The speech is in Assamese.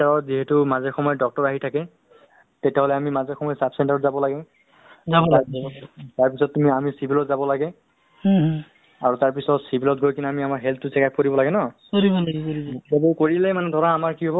অ, actually তুমি এইটো সঁচা কথা তোমাৰ যিটো message দিছা বা তেনেকা ধৰণৰ তুমি কৈছা যে এনেকে বস্তুতো মানে আ কৰিলে ধৰা মানে মানুহৰ জীৱনতো যেনেকে মানুহ ন'ন ~ ন' ~ নতুন এই new নতুন generation